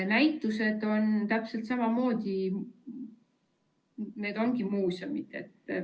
Näitustega on täpselt samamoodi, need ongi muuseumid.